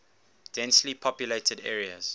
densely populated areas